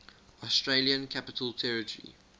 australian capital territory